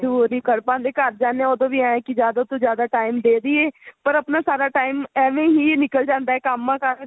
ਨਹੀਂ ਕਰ ਪਾਂਦੇ ਘਰ ਜਾਣੇ ਹਾਂ ਉਦੋਂ ਵੀ ਇਹ ਹੈ ਕੀ ਜਿਆਦਾ ਤੋਂ ਜਿਆਦਾ time ਦੇਦੀਏ ਪਰ ਆਪਣਾ ਸਾਰਾ time ਐਵੇਂ ਹੀ ਨਿੱਕਲ ਜਾਂਦਾ ਹੈ ਕੰਮਾ ਕਾਰਾ ਚ